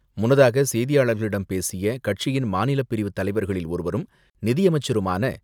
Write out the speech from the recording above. முன்னதாக செய்தியாளர்களிடம் பேசிய கட்சியின் மாநிலப் பிரிவு தலைவர்களில் ஒருவரும், நிதியமைச்சருமான